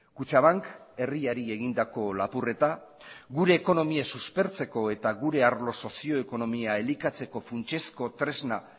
kutxabank herriari egindako lapurreta gure ekonomia suspertzeko eta gure arlo sozio ekonomia elikatzeko funtsezko tresna